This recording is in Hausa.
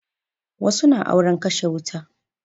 Wasu na auren kashe wuta